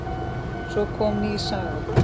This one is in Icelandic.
Svo kom ný saga.